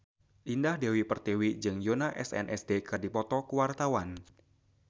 Indah Dewi Pertiwi jeung Yoona SNSD keur dipoto ku wartawan